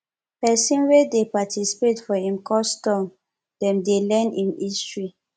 pesin wey dey participate for im custom dem dey learn im history